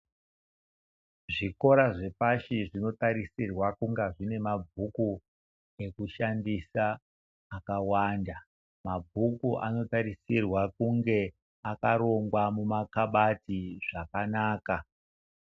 Zvikora zvepashi zvinotarisirwa kunga zvine mabhuku ekushandisa akawanda. Mabhuku anotarisirwa kunge akarongwa muna kabati zvakanaka.